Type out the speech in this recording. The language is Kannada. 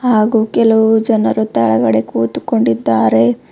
ಹಾಗೂ ಕೆಲವು ಜನರು ತೆಳಗಡೆ ಕುತುಕೊಂಡಿದ್ದಾರೆ.